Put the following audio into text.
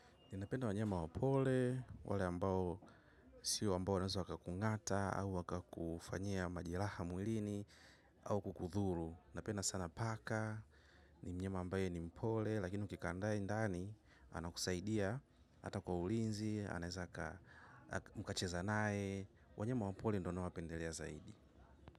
Ninapenda wanyema wapole, wale ambao siyo ambao wanaweza wakakungata au wakakufanyia majeraha mwilini au kukudhuru. Napenda sana paka ni mnyama ambaye ni mpole lakini ukikaa naye ndani anakusaidia hata kwa ulinzi anawezakaa mkacheza naye. Wanyama wa pori ndio nawapendelea zaidi.